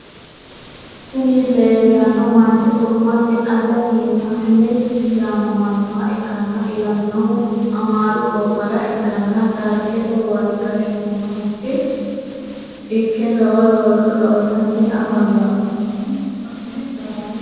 Kuni lelano manchi su’masi ate yehanisi yamamanoha ikana Ilaminohuno amaru gobara ikana darigete wari gashanicho ike lowo looso loosani afamino.